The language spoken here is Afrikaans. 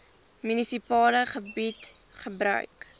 munisipale gebied gebruik